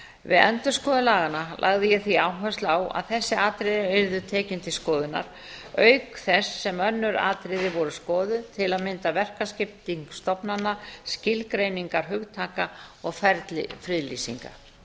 við endurskoðun laganna lagði ég því áhersla á að þessi atriði yrðu tekin til skoðunar auk þess sem önnur atriði voru skoðuð til að mynda verkaskipting stofnana skilgreiningar hugtaka og ferli friðlýsinga